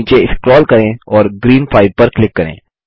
नीचे स्क्रोल करें और ग्रीन 5 पर क्लिक करें